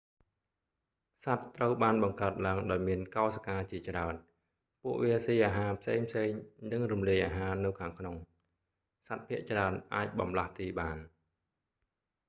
សត្វត្រូវបានបង្កើតឡើងដោយមានកោសិកាជាច្រើន ពួកវាស៊ីអាហារផ្សេងៗ និងរំលាយអាហារនៅខាងក្នុង សត្វភាគច្រើនអាចបម្លាស់ទីបាន